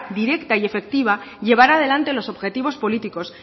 directa y efectiva llevar adelante los objetivos políticos